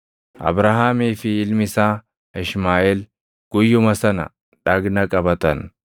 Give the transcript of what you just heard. Abrahaamii fi ilmi isaa Ishmaaʼeel guyyuma sana dhagna qabatan.